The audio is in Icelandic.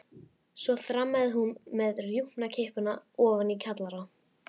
Svo þrammaði hún með rjúpnakippuna ofan í kjallara.